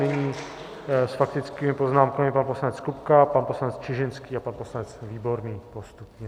Nyní s faktickými poznámkami pan poslanec Kupka, pan poslanec Čižinský a pan poslanec Výborný postupně.